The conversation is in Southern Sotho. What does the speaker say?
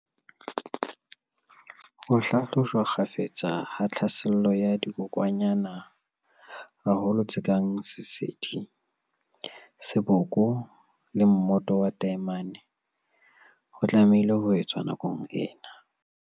Ho hlahlojwa kgafetsa ha tlhaselo ya dikokwanyana, haholoholo tse kang sesedi, seboko le mmoto wa taemane, ho tlamehile ho etswa nakong ena.